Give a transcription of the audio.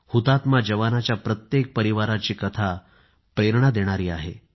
हुतात्मा जवानांच्या प्रत्येक परिवाराची कथा प्रेरणा देणारी आहे